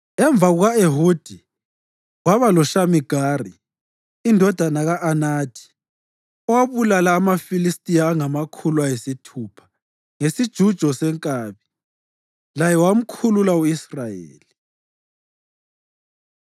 Emva kuka-Ehudi kwaba loShamigari indodana ka-Anathi owabulala amaFilistiya angamakhulu ayisithupha ngesijujo senkabi. Laye wamkhulula u-Israyeli.